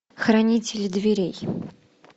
хранитель дверей